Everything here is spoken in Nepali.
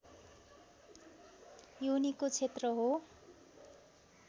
योनिको क्षेत्र हो